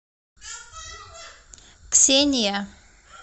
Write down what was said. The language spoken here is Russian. ксения